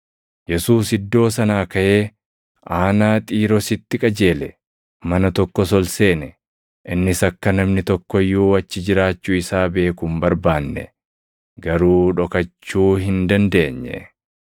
Yesuus iddoo sanaa kaʼee aanaa Xiiroositti qajeele. Mana tokkos ol seene; innis akka namni tokko iyyuu achi jiraachuu isaa beeku hin barbaanne; garuu dhokachuu hin dandeenye.